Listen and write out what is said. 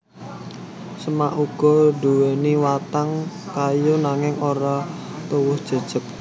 Semak uga nduwèni watang kayu nanging ora tuwuh jejeg